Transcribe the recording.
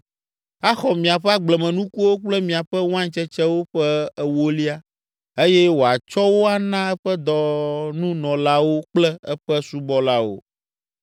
Axɔ miaƒe agblemenukuwo kple miaƒe wain tsetsewo ƒe ewolia eye wòatsɔ wo ana eƒe dɔnunɔlawo kple eƒe subɔlawo.